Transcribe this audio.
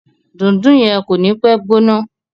Dundun yen ko ni pe gbóná.